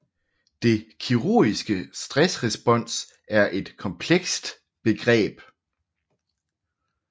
Det kirurgiske stressrespons er et komplekst begreb